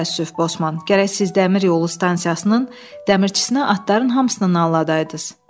Çox təəssüf, Bosman, gərək siz dəmir yolu stansiyasının dəmirçisinə atların hamısını nalladaydınız.